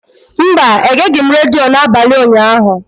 Mba, egeghị m redio n'abalị ụnyaahụ.